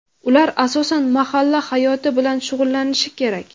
Ular asosan mahalla hayoti bilan shug‘ullanishi kerak.